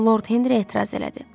Lord Henri etiraz elədi.